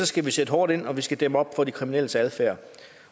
skal vi sætte hårdt ind og vi skal dæmme op for de kriminelles adfærd